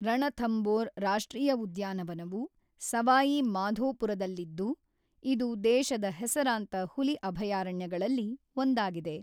ರಣಥಂಬೋರ್ ರಾಷ್ಟ್ರೀಯ ಉದ್ಯಾನವನವು ಸವಾಯಿ ಮಾಧೋಪುರದಲ್ಲಿದ್ದು, ಇದು ದೇಶದ ಹೆಸರಾಂತ ಹುಲಿ ಅಭಯಾರಣ್ಯಗಳಲ್ಲಿ ಒಂದಾಗಿದೆ.